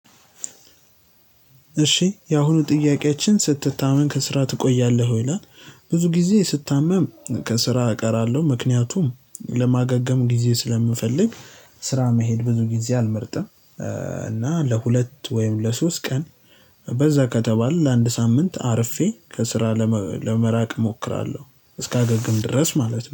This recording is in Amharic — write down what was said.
እሺ ያሁኑ ጥያቄያችን ስትታመም ከስራ ትቆያለህ ወይ ይላል ብዙ ጊዜ ስታመም ከስራ እቀራለሁ። ምክንያቱም ለማገገም ጊዜ ስለምፈልግ ስራ መሄድ ብዙ ጊዜ አልመርጥም። እና ለሁለት ወይም ለሶስት ቀን በዛ ከተባለ ለአንድ ሳምንት አርፌ ከስራ ለመራቅ እሞክራለሁ። እስካገግም ድረስ ማለት ነው።